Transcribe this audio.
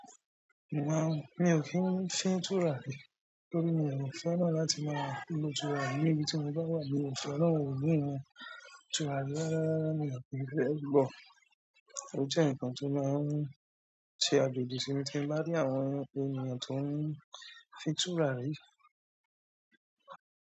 Màá mi ò kí ń fí túrà rí torí mi ò fẹ́ràn láti máa lo túràri níbi tí mo bá wà níbi tí àwọn òbí mi ń túràrí rara rara mi ò kí ń fẹ́ gbọ̀. Ó jẹ́ ǹkan tó máa ń ṣe àjoji sí mi tí mo bá rí àwọn ènìyàn tó ń fi túràrí.